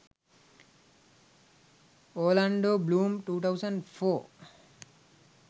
orlando bloom 2004